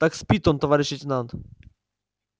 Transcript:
так спит он товарищ лейтенант